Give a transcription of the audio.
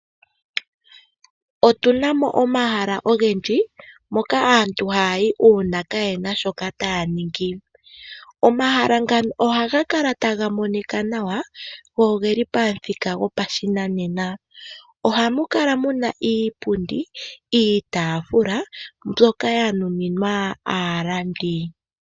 Otu na mo omahala ogendji hoka aantu haya yi uuna kaye na shoka taya ningi. Omahala ngano ohaga kala taga monika nawa noge li pamuthika gopashinanena. Ohamu kala mu na iipundi, iitaafula mbyoka ya nuninwa aalandi.